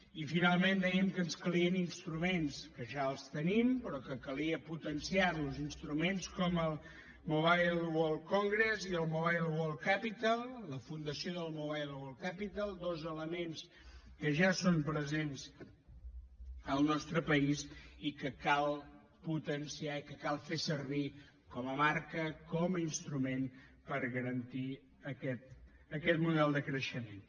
i finalment dèiem que ens calien instruments que ja els tenim però que calia potenciar los instruments com el mobile world congress i el mobile world capital la fundació del mobile world capital dos elements que ja són presents al nostre país i que cal potenciar i que cal fer servir com a marca com a instrument per garantir aquest model de creixement